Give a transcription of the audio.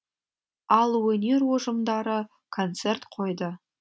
ал өнер ұжымдары концерт қойды